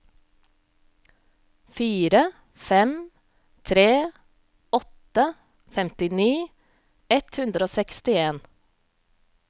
fire fem tre åtte femtini ett hundre og sekstien